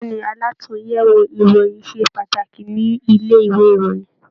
Bẹ̀ẹ́ni, àlatúnyẹwò ìròyìn ṣe pàtàkì nílé ìwé ìròyìn.